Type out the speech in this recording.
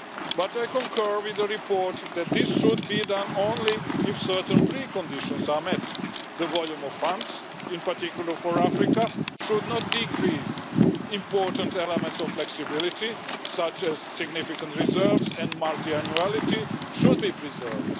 But I concur with the report that this should be done only if certain preconditions are met the volume of funds, in particular for Africa, should not decrease and important elements of flexibility, such as significant reserves and multiannuality should be preserved.